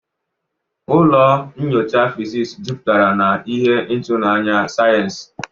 Ụlọ nyocha fizisi jupụtara na ihe ịtụnanya sayensị.